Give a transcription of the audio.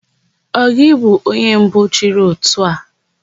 Ọ gị bụ onye mbụ chịrị ótù a?